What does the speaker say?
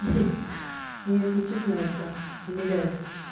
меня если честно это умиляет